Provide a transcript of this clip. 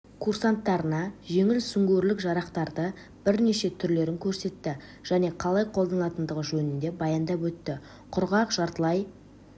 курсанттарына жеңіл сүңгуірлік жарақтардың бірнеше түрлерін көрсетті және қалай қолданылатындығы жөнінде баяндап өтті құрғақ жартылай